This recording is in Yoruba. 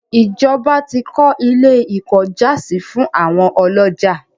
ìjọba tí kọ́ ilé - ìkọ́jàsí fún àwọn ọlọ́jà.